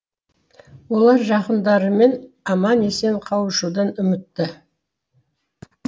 олар жақындарымен аман есен қауышудан үмітті